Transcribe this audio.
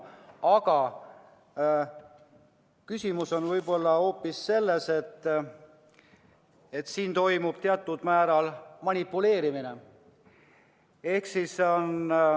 Aga asi on võib-olla hoopis selles, et siin toimub teatud määral manipuleerimine.